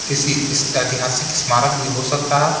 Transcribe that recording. किसी इस ऐतिहासिक स्मारक भी हो सकता है।